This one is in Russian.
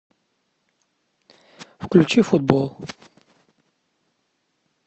включи футбол